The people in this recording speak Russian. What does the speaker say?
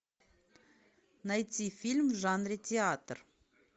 найти фильм в жанре театр